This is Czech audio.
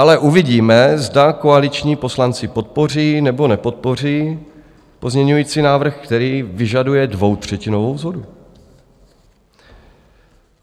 Ale uvidíme, zda koaliční poslanci podpoří nebo nepodpoří pozměňující návrh, který vyžaduje dvoutřetinovou shodu.